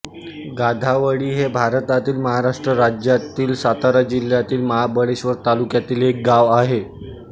गाधावळी हे भारतातील महाराष्ट्र राज्यातील सातारा जिल्ह्यातील महाबळेश्वर तालुक्यातील एक गाव आहे